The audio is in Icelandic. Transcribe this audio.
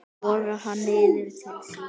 Togar hann niður til sín.